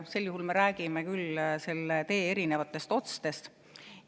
Sel juhul me räägime küll selle tee erinevatest otstest.